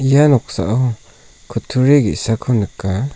ia noksao kutturi ge·sako nika.